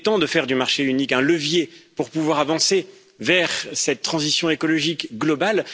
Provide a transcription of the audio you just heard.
Il est temps de faire du marché unique un levier pour pouvoir avancer vers cette transition écologique globale.